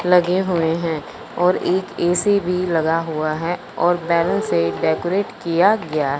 लगे हुए हैं और एक ऐ_सी भी लगा हुआ है और बैलून से डेकोरेट किया गया--